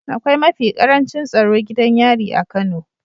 Akwai mafi ƙarancin tsaro gidan yari a kano